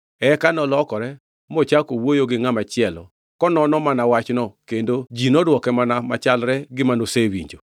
Eka nolokore mochako wuoyo gi ngʼama chielo konono mana wachno kendo ji nodwoke mana wach machalre gi manosewinjo.